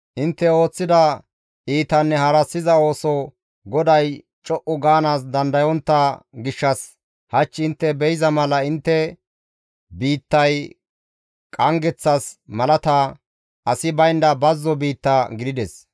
Intte ooththida iitanne harassiza ooso GODAY co7u gaanaas dandayontta gishshas hach intte be7iza mala intte biittay qanggeththas malata, asi baynda bazzo biitta gidides.